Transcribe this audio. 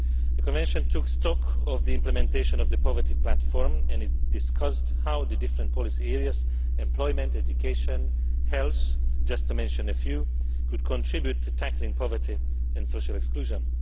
The Convention took stock of the implementation of the poverty platform and it discussed how the different policy areas employment, education, health, just to mention a few could contribute to tackling poverty and social exclusion.